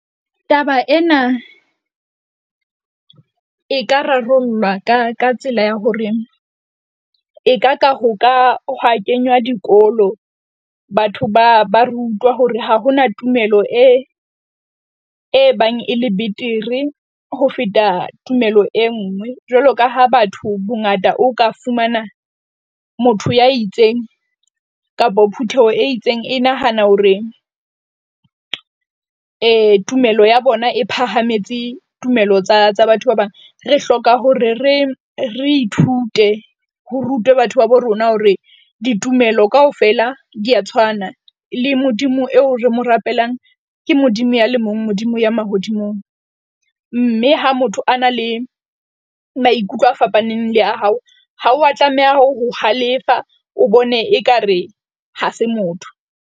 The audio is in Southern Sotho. Taba ena e ka rarollwa ka ka tsela ya hore e ka ka ho ka hwa kenywa dikolo. Batho ba ba rutwa hore ha ho na tumelo e, e bang e le betere ho feta tumelo e nngwe. Jwalo ka ha batho bongata o ka fumana motho ya itseng kapa phutheho e itseng e nahana hore tumelo ya bona e phahametse tumelo tsa tsa batho ba bang. Re hloka hore re re ithute ho rutwe batho babo rona hore ditumelo kaofela di a tshwana, le Modimo eo re mo rapelang. Ke Modimo ya le mong, Modimo ya mahodimong. Mme ha motho a na le maikutlo a fapaneng le a hao, ha wa tlameha ho halefa, o bone ekare ha se motho.